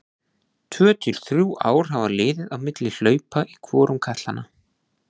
Tvö til þrjú ár hafa liðið á milli hlaupa í hvorum katlanna.